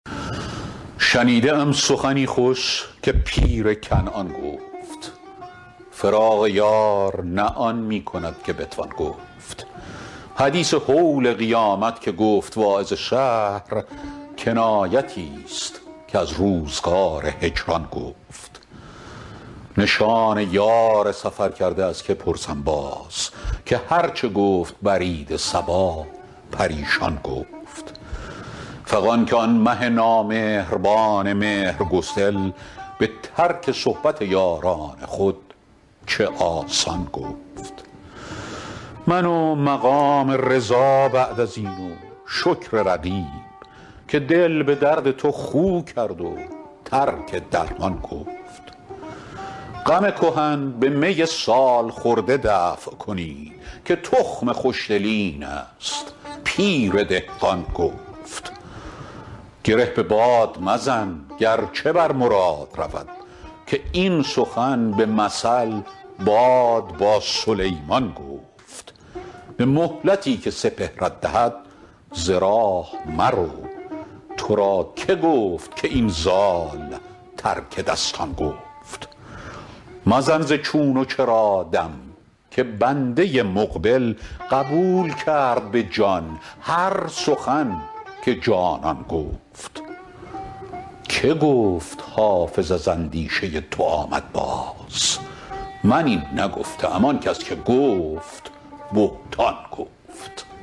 شنیده ام سخنی خوش که پیر کنعان گفت فراق یار نه آن می کند که بتوان گفت حدیث هول قیامت که گفت واعظ شهر کنایتی ست که از روزگار هجران گفت نشان یار سفرکرده از که پرسم باز که هر چه گفت برید صبا پریشان گفت فغان که آن مه نامهربان مهرگسل به ترک صحبت یاران خود چه آسان گفت من و مقام رضا بعد از این و شکر رقیب که دل به درد تو خو کرد و ترک درمان گفت غم کهن به می سال خورده دفع کنید که تخم خوش دلی این است پیر دهقان گفت گره به باد مزن گر چه بر مراد رود که این سخن به مثل باد با سلیمان گفت به مهلتی که سپهرت دهد ز راه مرو تو را که گفت که این زال ترک دستان گفت مزن ز چون و چرا دم که بنده مقبل قبول کرد به جان هر سخن که جانان گفت که گفت حافظ از اندیشه تو آمد باز من این نگفته ام آن کس که گفت بهتان گفت